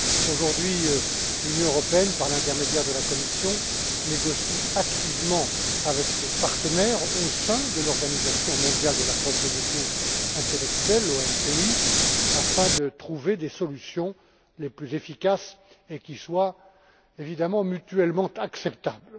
Aujourd'hui, l'Union européenne, par l'intermédiaire de la Commission, négocie activement avec ses partenaires au sein de l'Organisation mondiale de la propriété intellectuelle afin de trouver les solutions les plus efficaces et qui soient, évidemment, mutuellement acceptables.